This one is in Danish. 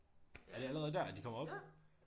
Er det allerede der at de kommer op